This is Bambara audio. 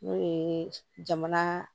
N'o ye jamana